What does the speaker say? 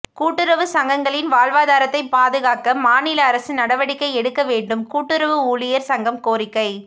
கூட்டுறவு சங்கங்களின் வாழ்வாதாரத்தை பாதுகாக்க மாநில அரசு நடவடிக்கை எடுக்க வேண்டும்கூட்டுறவு ஊழியர் சங்கம் கோரிக்கை